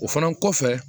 O fana kɔfɛ